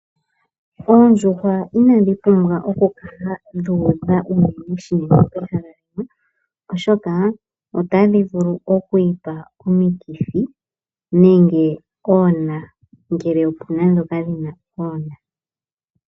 Oondjuhwainadhi pumbwa oku kala dhu udha unene shinene pehala limwe oshoka otadhi vulu oku ipa omikithi nenge oona.